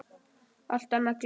Allt annað gleymt.